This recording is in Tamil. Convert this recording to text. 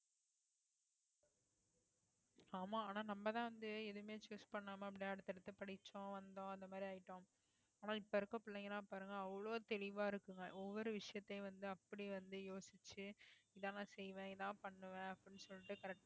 ஆமா ஆனா நம்மதான் வந்து எதுவுமே choose பண்ணாம அப்படியே அடுத்தடுத்து படிச்சோம் வந்தோம் அந்த மாதிரி ஆயிட்டோம் ஆனா இப்ப இருக்க பிள்ளைங்க எல்லாம் பாருங்க அவ்வளவு தெளிவா இருக்குங்க ஒவ்வொரு விஷயத்தையும் வந்து அப்படி வந்து யோசிச்சு இதெல்லாம் நான் செய்வேன் இதான் பண்ணுவேன் அப்படின்னு சொல்லிட்டு கடைசில